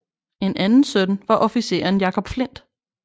En anden søn var officeren Jacob Flindt